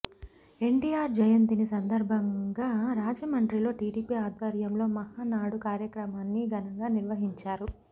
ఎన్టీఆర్ జయంతిని సందర్భంగా రాజమండ్రిలో టీడీపీ ఆధ్వర్యంలో మహానాడు కార్యక్రమాన్ని ఘనంగా నిర్వహించారు